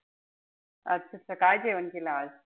अच्छा. काय जेवण केलं आज?